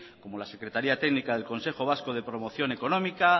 como la secretaría técnica del consejo vasco de promoción económica